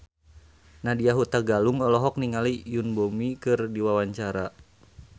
Nadya Hutagalung olohok ningali Yoon Bomi keur diwawancara